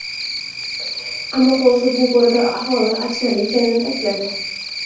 Ammo xulosada bu boradagi ahvol achinarli ekanini ta’kidladi.